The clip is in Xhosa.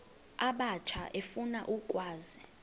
abatsha efuna ukwazi